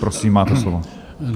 Prosím, máte slovo.